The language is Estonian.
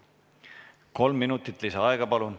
Kolm minutit lisaaega.